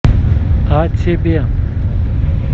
а тебе